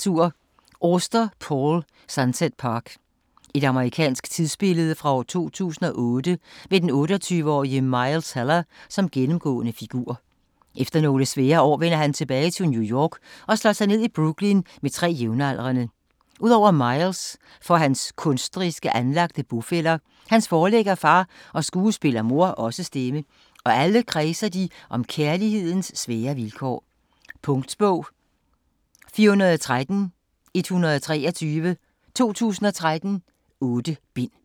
Auster, Paul: Sunset Park Et amerikansk tidsbillede fra år 2008 med den 28-årige Miles Heller som gennemgående figur. Efter nogle svære år vender han tilbage til New York og slår sig ned i Brooklyn med tre jævnaldrende. Ud over Miles får hans kunstnerisk anlagte bofæller, hans forlæggerfar og skuespillermor også stemme, og alle kredser de om kærlighedens svære vilkår. Punktbog 413123 2013. 8 bind.